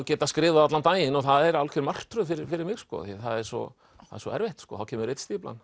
geta skrifað allan daginn og það er algjör martröð fyrir fyrir mig því það er svo svo erfitt þá kemur